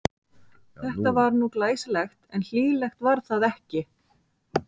Þetta var nú glæsilegt, en hlýlegt var það ekki.